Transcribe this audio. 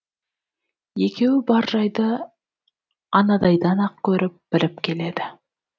екеуі бар жайды анадайдан ақ көріп біліп келеді